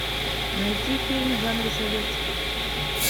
найти фильм в жанре советский